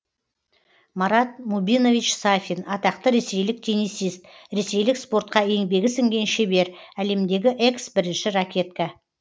марат мубинович сафин атақты ресейлік теннисист ресейлік спортқа еңбегі сіңген шебер әлемдегі экс бірінші ракетка